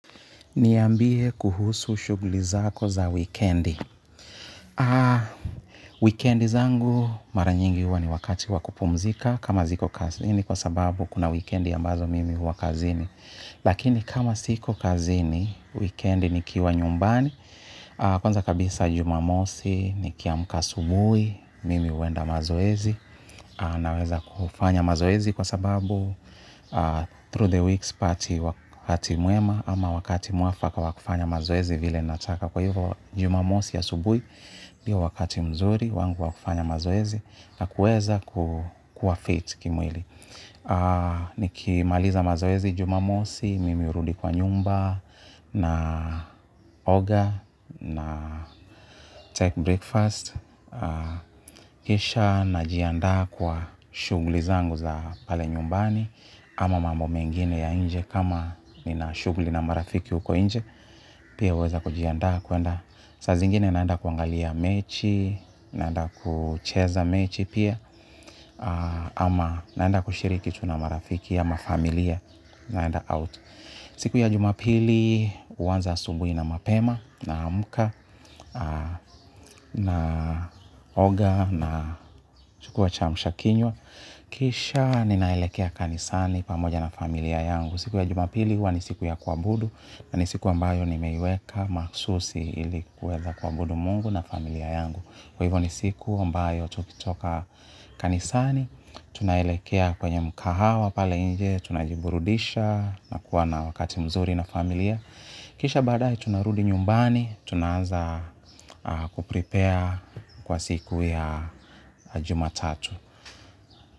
Niambie kuhusu shuglizako za wikendi. Wikendizangu maranyingi huwa ni wakati wakupumzika kama ziko kazi ni kwa sababu kuna wikendi ambazo mimi hua kazini. Lakini kama siko kazini, wikendi ni kiwa nyumbani, kwanza kabisa jumamosi, nikiamka asubui, mimi huenda mazoezi. Naweza kufanya mazoezi kwa sababu Through the weeks pati wakati mwema ama wakati mwafaka wakufanya mazoezi vile nataka kwa hivyo jumamosi a subui ndio wakati mzuri wangu wakufanya mazoezi na kuweza kuwa fit kimwili. Nikimaliza mazoezi jumamosi mimi urudi kwa nyumba na oga na take breakfast. Kisha na jianda kwa shugli zangu za pale nyumbani ama mambo mengine ya nje kama ni na shugli na marafiki uko inje. Pia uweza kujianda kwenda Sa zingine naenda kuangalia mechi. Naenda kucheza mechi pia ama naenda kushirikitu na marafiki ama familia. Naenda out. Siku ya jumapili uanza asubui na mapema naamka. Na oga na chukua cha mshakinywa. Kisha ninaelekea kanisani pamoja na familia yangu. Siku ya jumapili huwa ni siku ya kua budu. Na ni siku ambayo ni meweka maksusi ilikuweza kua budu mungu na familia yangu kwa hivyo ni siku ambayo tukitoka kanisani. Tunaelekea kwenye mkahawa pale nje tuna jiburudisha na kuwa na wakati mzuri na familia. Kisha baadae tunarudi nyumbani. Tunaanza kuprepare kwa siku ya jumatatu.